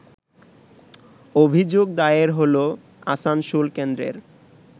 অভিযোগ দায়ের হল আসানসোল কেন্দ্রের